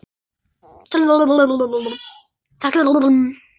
Þeir velta ekki, þeir fljúga.